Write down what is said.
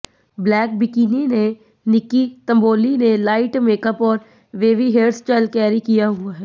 black bikini ने निक्की तंबोली ने light makeup और वेवी हेयरस्टाइल कैरी किया हुआ है